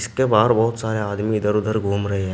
इसके बाहर बहुत सारे आदमी इधर उधर घूम रहे हैं।